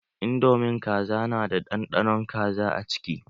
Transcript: Indomin Kaza na da ɗanɗanon kaza a ciki